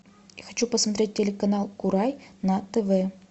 я хочу посмотреть телеканал курай на тв